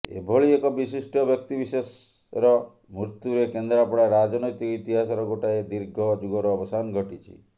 ଏଭଳି ଏକ ବିଶିଷ୍ଟ ବ୍ୟକ୍ତିବିଶେଷର ମୃତ୍ୟୁରେ କେନ୍ଦ୍ରାପଡ଼ା ରାଜନୈତିକ ଇତିହାସର ଗୋଟାଏ ଦୀର୍ଘ ଯୁଗର ଅବସାନ ଘଟିଛି